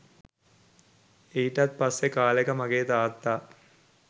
එයිටත් පස්සේ කාලෙක මගේ තාත්තා